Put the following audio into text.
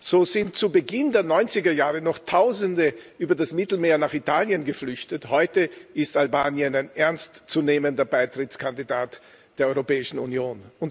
So sind zu Beginn der 90er Jahre noch Tausende über das Mittelmeer nach Italien geflüchtet. Heute ist Albanien ein ernst zu nehmender Beitrittskandidat der Europäischen Union.